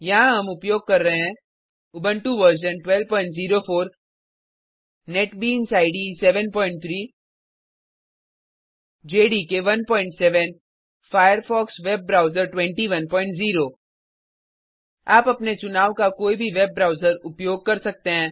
यहाँ हम उपयोग कर रहे हैं Ubuntu version 1204 NetBeans IDE 73 JDK 17 Firefox web browser 210 आप अपने चुनाव का कोई भी वेब ब्राउज़र उपयोग कर सकते हैं